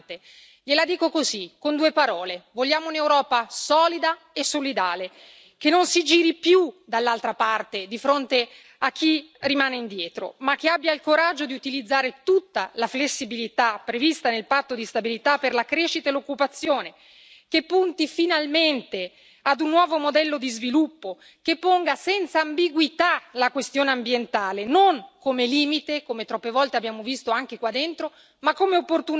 Gliela dico così, con due parole vogliamo un'Europa solida e solidale, che non si giri più dall'altra parte di fronte a chi rimane indietro, ma che abbia il coraggio di utilizzare tutta la flessibilità prevista nel patto di stabilità per la crescita e l'occupazione, che punti finalmente ad un nuovo modello di sviluppo, che ponga senza ambiguità la questione ambientale non come limite come troppe volte abbiamo visto anche qua dentro ma come opportunità